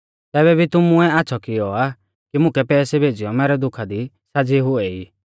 तैबै भी तुमुऐ आच़्छ़ौ किऔ आ कि मुकै पैसै भेज़ीयौ मैरै दुखा दी साज़ी हुऐ ई